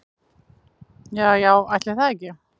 Ja já ætli það ekki.